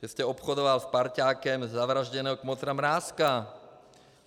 Že jste obchodoval s parťákem zavražděného kmotra Mrázka.